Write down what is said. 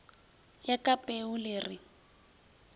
ya ka peu le re